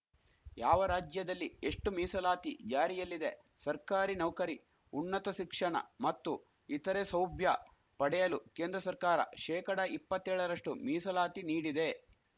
ಯಾವ ರಾಜ್ಯದಲ್ಲಿ ಎಷ್ಟುಮೀಸಲಾತಿ ಜಾರಿಯಲ್ಲಿದೆ ಸರ್ಕಾರಿ ನೌಕರಿ ಉನ್ನತ ಸಿಕ್ಷಣ ಮತ್ತು ಇತರೆ ಸೌಭ್ಯ ಪಡೆಯಲು ಕೇಂದ್ರ ಸರ್ಕಾರ ಶೇಕಡಾ ಇಪ್ಪತ್ತೇಳ ರಷ್ಟುಮೀಸಲಾತಿ ನೀಡಿದೆ